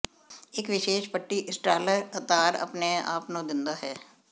ਇਕ ਵਿਸ਼ੇਸ਼ ਪੱਟੀ ਇੰਸਟਾਲਰ ਤਾਰ ਆਪਣੇ ਆਪ ਨੂੰ ਦਿੰਦਾ ਹੈ